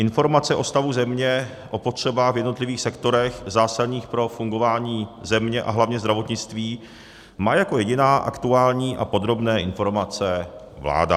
Informace o stavu země, o potřebách v jednotlivých sektorech zásadních pro fungování země a hlavně zdravotnictví má jako jediná, aktuální a podrobné informace, vláda.